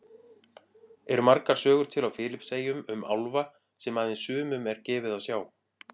Eru margar sögur til á Filippseyjum um álfa sem aðeins sumum er gefið að sjá?